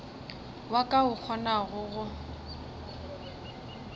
wa ka o kgonago go